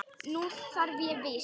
Nú þarf ég víst.